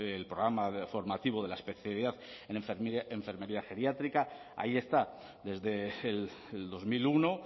el programa formativo de la especialidad en enfermería geriátrica ahí está desde el dos mil uno